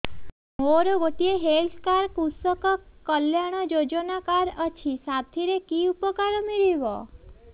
ମୋର ଗୋଟିଏ health card କୃଷକ କଲ୍ୟାଣ ଯୋଜନା କାର୍ଡ ଅଛି ସାଥିରେ କି ଉପକାର ମିଳିବ